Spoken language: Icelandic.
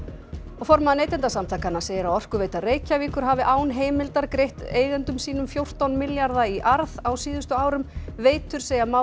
formaður Neytendasamtakanna segir að Orkuveita Reykjavíkur hafi án heimildar greitt eigendum sínum fjórtán milljarða í arð á síðustu árum veitur segja málið